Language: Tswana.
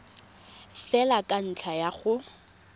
fela ka ntlha ya go